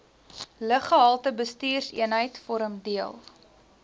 luggehaltebestuurseenheid vorm deel